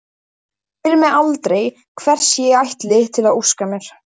Hún spyr mig aldrei hvers ég ætli að óska mér.